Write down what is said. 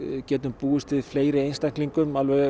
getum búist við fleiri einstaklingum